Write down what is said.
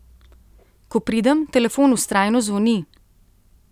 Ko pridem, telefon vztrajno zvoni.